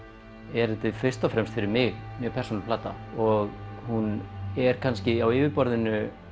er þetta fyrst og fremst fyrir mig mjög persónuleg plata og hún er kannski á yfirborðinu